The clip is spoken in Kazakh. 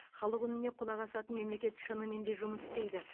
халық үніне құлақ асатын мемлекет шынымен де жұмыс істейді